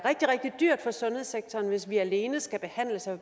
rigtig dyrt for sundhedssektoren hvis vi alene skal behandle så